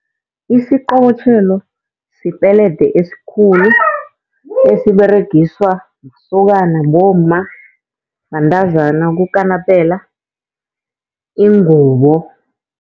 Isiqobotjhelo sipelede esikhulu esiberegiswa masokana, bomma, bantazana ukukanapela ingubo.